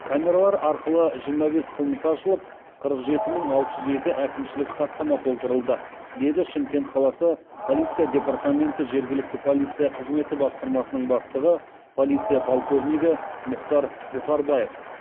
камералар арқылы жиырма бес қылмыс ашылып қырық жеті мың алты жүз екі әкімшілік хаттама толтырылды деді шымкент қаласы полиция департаменті жергілікті полиция қызметі басқармасының бастығы полиция подполковнигі мухтар бухарбаев